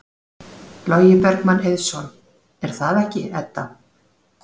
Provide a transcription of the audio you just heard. Logi Bergmann Eiðsson: Er það ekki, Edda?